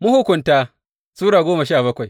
Mahukunta Sura goma sha bakwai